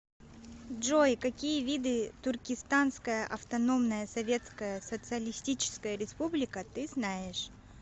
джой какие виды туркестанская автономная советская социалистическая республика ты знаешь